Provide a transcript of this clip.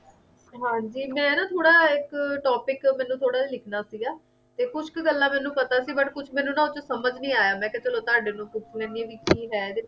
ਹਾਂ ਜੀ ਮੈਂ ਨਾ ਥੋੜਾ ਇੱਕ topic ਮੈਨੂੰ ਥੋੜਾ ਜਿਹਾ ਲਿਖਣਾ ਸੀਗਾ ਤੇ ਕੁਝ ਕ ਗੱਲਾਂ ਮੈਨੂੰ ਪਤਾ ਸੀ ਪਰ ਕੁਝ ਮੈਨੂੰ ਨਾ ਉੱਥੇ ਸਮਝ ਨਹੀਂ ਆਇਆ ਮੈਂ ਕਿਹਾ ਚਲੋ ਤੁਹਾਡੇ ਕੋਲੋਂ ਪੁੱਛ ਲੈਂਦੀ ਹਾਂ ਵੀ ਕੀ ਹੈ ਇਹਦੇ ਵਿੱਚ?